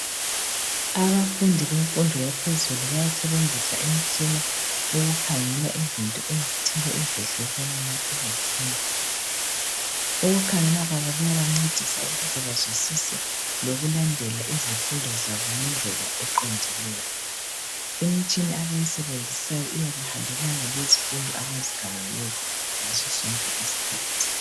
Abafundi bemfundo yaphezulu bayasebenzisa imitshina ukukhangela izinto ezitshiyeneyo, imitshina abayisebenzisayo iyabe ihambelana lezifundo zabo ngaso sonke isikhathi.